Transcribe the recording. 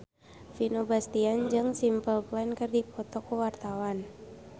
Vino Bastian jeung Simple Plan keur dipoto ku wartawan